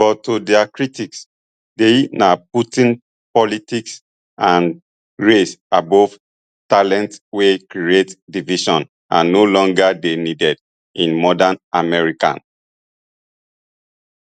but to dia critics dei na putting politics and race above talent wey create division and no longer dey needed in modern america